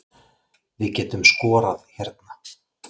Við getum skorað hérna